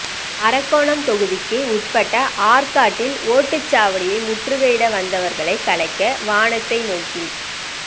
அரக்கோணம் தொகுதிக்கு உட்பட்ட ஆற்காட்டில் ஓட்டுச்சாவடியை முற்றுகையிட வந்தவர்களை கலைக்க வானத்தை நோக்கி